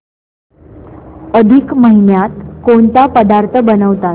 अधिक महिन्यात कोणते पदार्थ बनवतात